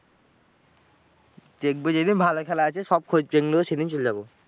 দেখব যেদিন ভালো খেলা আছে, সব খোঁজ জেন নেব সেদিন চল যাব।